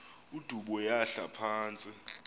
udubo yahla phantsi